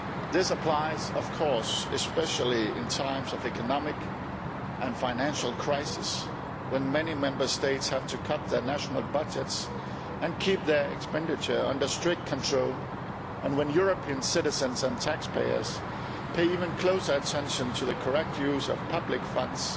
This applies especially in times of economic and financial crisis, when many Member States have to cut their national budgets and keep their expenditure under strict control, and when European citizens and taxpayers pay even closer attention to the correct use of public funds,